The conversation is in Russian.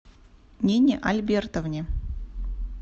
нине альбертовне